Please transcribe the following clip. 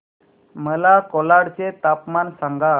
मला कोलाड चे तापमान सांगा